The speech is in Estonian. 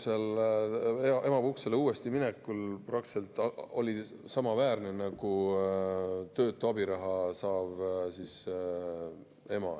Tal oli emapuhkusele minekul peaaegu samaväärne nagu töötu abiraha saajal.